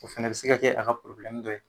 O fɛnɛ bɛ se ka kɛ a do ye.